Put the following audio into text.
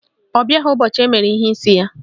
Ọ bịaghị ụbọchị emere ihe n'isi ya